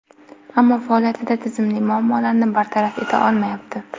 Ammo faoliyatida tizimli muammolarni bartaraf eta olmayapti.